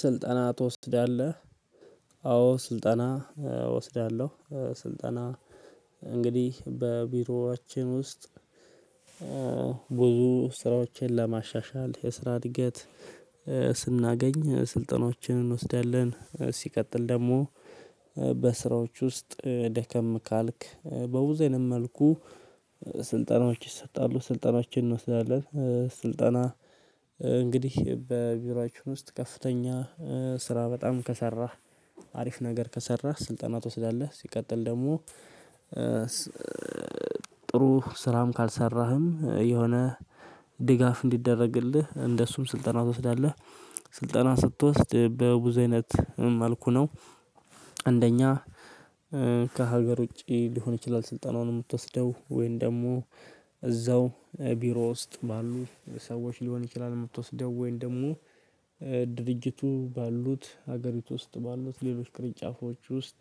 ስልጠና ትወስዳለህ? አዎ ስልጠና እወስዳለሁ። ስልጠና እንግዲህ በቢሮአችን ውስጥ ብዙ ስራዎችን ለማሻሻል የስራ እድገት ስናገኝ ስልጠናዎችን እንወስዳለን። ሲቀጥል ደግሞ በስራዎች ውስጥ ደከም ካልክ በውዘንም መልኩ ስልጠናዎች ይሰጣሉ ስልጠናችን እንወስዳለን። ስልጠና እንግዲህ በቢሮአችን ውስጥ ከፍተኛ ስራ በጣም ከሰራህ አሪፍ ነገር ከሰራህ ስልጠና ትወስዳለህ ሲቀጥል ደግሞ ጥሩ ስራም ካልሰራህም የሆነ ድጋፍ እንዲደረግልህ እንደሱም ስልጠና ትወስዳለህ። ስልጠና ስትወስድ በብዙ አይነት መልኩ ነው አንደኛ ከሀገር ውጪ ሊሆን ይችላል። ስልጠናውን የምትወስደው ወይን ደግሞ እዛው ቢሮ ውስጥ ባሉ ሰዎች ሊሆን ይችላል። የምትወስደው ወይን ደግሞ ድርጅቱ ባሉት ሀገሪቱ ውስጥ ባሉት ሌሎች ቅርንጫፎች ውስጥ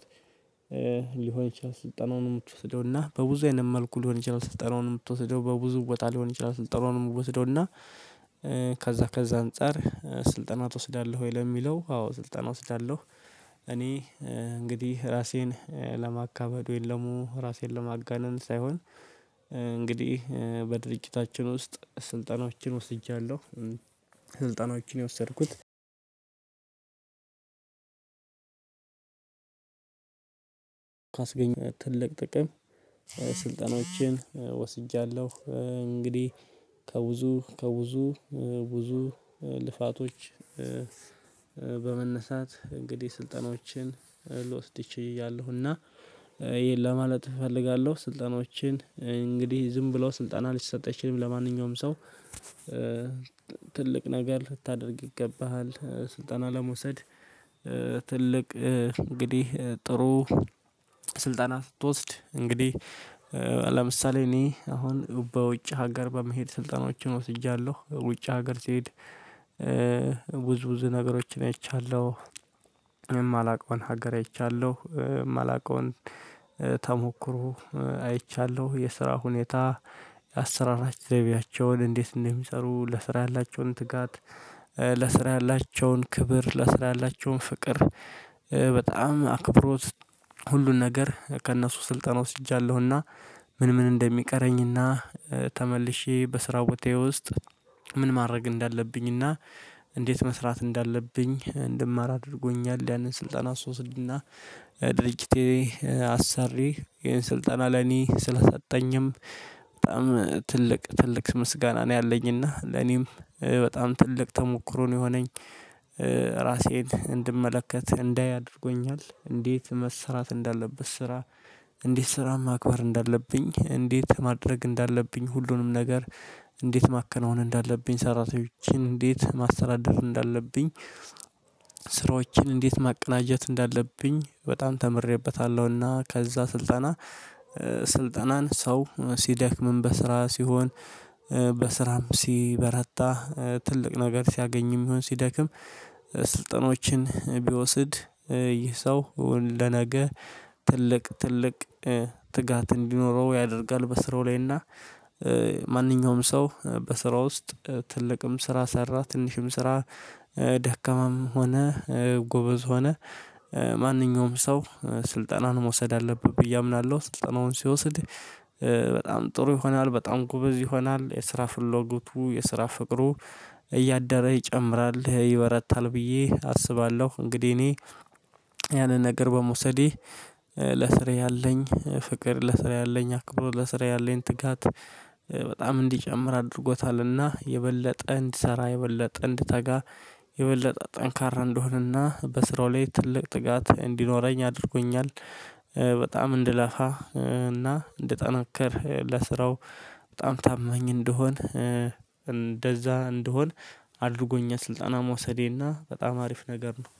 ሊሆን ይችላል። ስልጠናውንም ወስደውና በብዙ አይነት መልኩ ሊሆን ይችላል ስልጠናውንም የምትወስደው በብዙ ቦታ ሊሆን ይችላል። ስልጠናውን ምወስደው እና ከዛ ከዛ አንፃር ስልጠና ትወስዳለህ? ወይ ለሚለው አዎ ስልጠና እወስዳለሁ። እኔ እንግዲህ ራሴን ለማካበዱ ወይ ደሞ ራሴን ለማጋነን ሳይሆን እንግዲህ በድርጅታችን ውስጥ ስልጠናዎችን ወስጃለሁ። ስልጠናዎችን የወሰድኩት ካስገኝ ትልቅ ጥቅም ስልጠናችን ወስጃለሁ እንግዲህ ከብዙ ከብዙ ብዙ ልፋቶች በመነሳት እንግዲህ ስልጠናዎችን ልወስድ ችያለሁና ይሄን ለማለት እፈልጋለሁ። ስልጠናዎችን እንግዲህ ዝም ብለው ስልጠና ሊሰጥ አይችልም ለማንኛውም ሰው ትልቅ ነገር ልታደርግ ይገባሃል ስልጠና ለመውሰድ። ትልቅ እንግዲህ ጥሩ ስልጠና ስትወስድ እንግዲህ ለምሳሌ እኔ አሁን በውጭ ሀገር በመሄድ ስልጣኖችን ወስጃለሁ ውጭ ሀገር ሲሄድ ብዙ ብዙ ነገሮችን አይቻለሁ። የማላውቀውን ሀገር አይቻለሁ የማላውቀውን ተሞክሮ አይቻለሁ የስራ ሁኔታ የአሰራር ዘይቤያቸውን እንዴት እንደሚሰሩ ለስራ ያላቸውን ትጋት ለስራ ያላቸውን ክብር ለስራ ያላቸውን ፍቅር በጣም አክብሮት ሁሉን ነገር ከእነሱ ስልጠና ወስጃለሁና። ምን ምን እንደሚቀረኝና ተመልሼ በስራው ቤቴ ውስጥ ምን ማድረግ እንዳለብኝና እንዴት መስራት እንዳለብኝ እንድማር አድርጎኛል። ያንን ስልጠና ስወስድና የድርጅቴ አሰሪ ይሄን ስልጣን ለኔ ስለሰጠኝም በጣም ትልቅ ትልቅ ምስጋና ነው ያለኝና ለኔም በጣም ትልቅ ተሞክሮ ነው የሆነኝ። ራሴን እንድመለከት እንዳይ አድርጎኛል እንዴት መሰራት እንዳለበት ስራ እንዴት ስራም ማክበር እንዳለብኝ እንዴት ማድረግ እንዳለብኝ ሁሉንም ነገር እንዴት ማከናወን እንዳለብኝ ሰራተኞችን እንዴት ማስተዳደር እንዳለብኝ ስራዎችን እንዴት ማቀናጀት እንዳለብኝ በጣም ተምሬበታለሁና። ከዛ ስልጠና ስልጠናን ሰው ሲደክምም በስራ ሲሆን በስራም ሲበረታ ትልቅ ነገር ሲያገኝም ሲሆን ሲደክም ስልጠናዎችን ቢወስድ ይህ ሰው እውን ለነገ ትልቅ ትልቅ ትጋት እንዲኖረው ያደርጋል በስራው ላይና ማንኛውም ሰው በስራው ውስጥ ትልቅም ስራ ሰራ ትንሽም ስራ ደከማም ሆነ ጎበዝ ሆነ ማንኛውም ሰው ስልጠናን መውሰድ አለብህ ብዬ አምናለሁ። ስልጠናውን ሲወስድ በጣም ጥሩ ይሆናል በጣም ጉበዝ ይሆናል የስራ ፍሎጎቱ የስራ ፍቅሩ እያደረ ይጨምራል ይበረታል ብዬ አስባለሁ። እንግዲህ እኔ ያንን ነገር በመውሰዴ ለስርዬ አለኝ ፍቅር ለስራ ያለኝ አክብሮ ለስራ ያለኝ ትጋት በጣም እንዲጨምር አድርጎታልና የበለጠ እንድሰራ የበለጠ እንድተጋ የበለጠ ጠንካራ እንድሆንና በስራው ላይ ትልቅ ትጋት እንዲኖረኝ አድርጎኛል። በጣም እንድላፋ እና እንደጠናከር ለስራው በጣም ታመኝ እንደሆን እንደዛ እንደሆን አድርጎኛል ስልጣና መውሰዴና በጣም አሪፍ ነገር ነው።